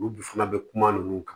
Olu bi fana bɛ kuma ninnu kan